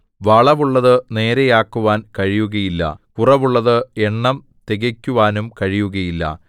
വളവുള്ളതു നേരെ ആക്കുവാൻ കഴിയുകയില്ല കുറവുള്ളത് എണ്ണം തികക്കുവാനും കഴിയുകയില്ല